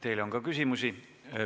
Teile on ka küsimusi.